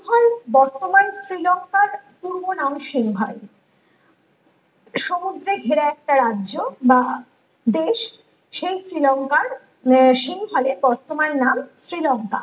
সিংহল বর্তমানে শ্রীলংকার পূর্বনাম সিংহল সমুদ্রে ঘেরা একটা রাজ্য বা দেশ সেই শ্রীলংকার আহ সিংহলে বর্তমান নাম শ্রীলংকা